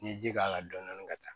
N'i ye ji k'a la dɔɔni dɔɔni ka taa